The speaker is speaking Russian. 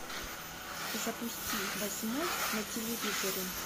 запусти восьмой на телевизоре